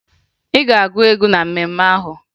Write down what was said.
Ị ga-agụ egwu na mmemme ahụ!